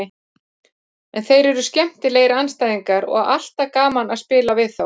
En þeir eru skemmtilegir andstæðingar og alltaf gaman að spila við þá.